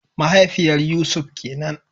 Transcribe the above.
Mahaifiyar Yusuf kenan